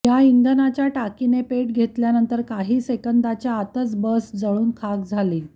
या इंधनाच्या टाकीने पेट घेतल्यानंतर काही सेकंदाच्या आतच बस जळून खाक झाली